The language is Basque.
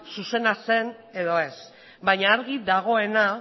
zuzena zen edo ez baina argi dagoena